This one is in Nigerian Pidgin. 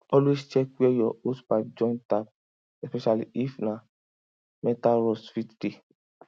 always check where your hosepipe join tap especially if na metalrust fit dey